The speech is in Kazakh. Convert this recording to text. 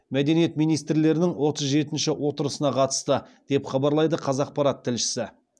мәдениет министрлерінің отыз жетінші отырысына қатысты деп хабарлайды қазақпарат тілшісі